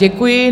Děkuji.